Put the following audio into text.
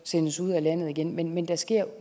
sendes ud af landet igen men men der sker